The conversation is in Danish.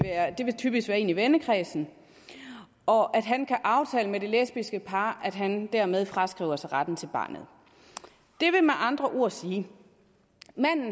typisk være en i vennekredsen og at han kan aftale med det lesbiske par at han dermed fraskriver sig retten til barnet det vil med andre ord sige